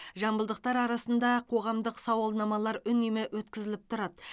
жамбылдықтар арасында қоғамдық сауалнамалар үнемі өткізіліп тұрады